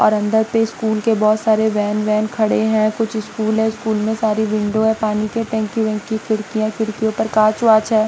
और अंदर पे स्कूल के बहुत सारे वैन वैन खड़े हैं कुछ स्कूल हैं स्कूल में सारी विंडो हैं पानी के टैंकी वंकी खिड़कियाँ खिड़कियों पर काँच-वाँच हैं।